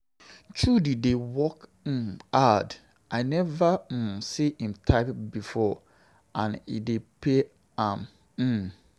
Chudi dey work um hard, I never um see im type before and e dey pay am. um